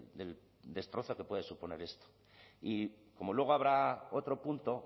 del destrozo que puede suponer esto y como luego habrá otro punto